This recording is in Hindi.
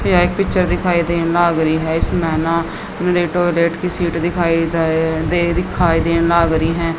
यह एक पिक्चर दिखाई दे नगरी है कि सीट दिखाई द दे दिखाई दे नागरी है।